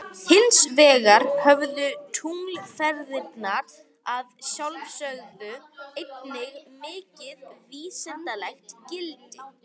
Hins vegar höfðu tunglferðirnar að sjálfsögðu einnig mikið vísindalegt gildi.